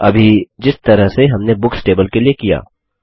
अभी जिस तरह से हमने बुक्स टेबल के लिए किया